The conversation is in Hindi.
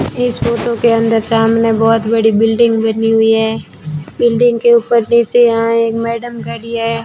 इस फोटो के अंदर सामने बहुत बड़ी बिल्डिंग बनी हुई है बिल्डिंग के ऊपर नीचे यहां एक मैडम खड़ी है।